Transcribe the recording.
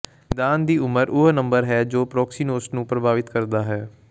ਨਿਦਾਨ ਦੀ ਉਮਰ ਉਹ ਨੰਬਰ ਹੈ ਜੋ ਪ੍ਰੌਕਸੀਨੋਸ ਨੂੰ ਪ੍ਰਭਾਵਿਤ ਕਰਦਾ ਹੈ